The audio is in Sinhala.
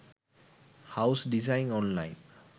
house design online